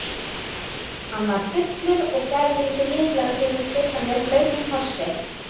Hann var fullur og gerði sig líklegan til að kyssa mig blautum kossi.